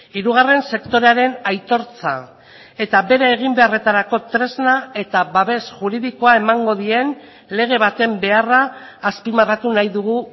hirugarren sektorearen aitortza eta bere eginbeharretarako tresna eta babes juridikoa emango dien lege baten beharra azpimarratu nahi dugu